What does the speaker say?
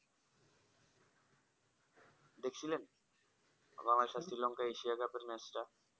দেখছিলেন বাংলাদেশ শ্রীলঙ্কা এশিয়ার cup এর match টা?